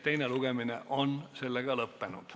Teine lugemine on lõpetatud.